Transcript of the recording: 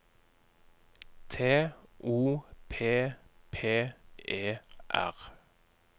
T O P P E R